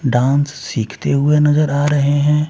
Dance सीखते हुए नजर आ रहे हैं।